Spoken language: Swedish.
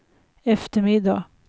eftermiddag